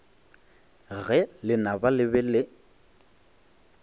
ge lenaba le be le